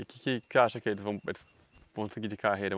E o que que que acha que eles vão eles vão seguir de carreira?